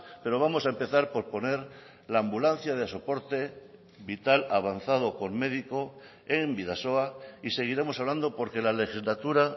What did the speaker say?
pero vamos a empezar por poner la ambulancia de soporte vital avanzado con médico en bidasoa y seguiremos hablando porque la legislatura